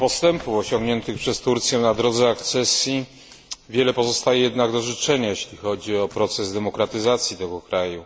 Mimo postępów osiągniętych przez Turcję na drodze akcesji, wiele pozostaje jednak do życzenia, jeśli chodzi o proces demokratyzacji tego kraju.